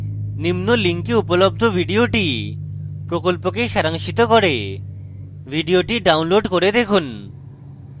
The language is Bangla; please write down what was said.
নিম্ন link উপলব্ধ video প্রকল্পকে সারাংশিত করে video download করে দেখুন